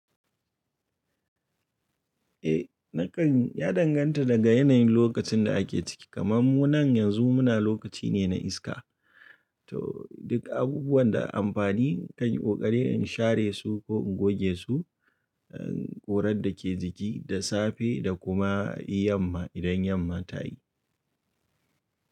Eh na kan ya danganta daga yanayin lokacin da ake ciki kaman mu nan yanzu muna lokaci ne na iska. To duk abubuwan da amfani kan yi ƙoƙari in share su ko in goge su, ƙurar da ke jiki da safe da kuma yamma idan yamma ta yi.